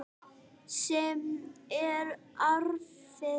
Sem er erfitt.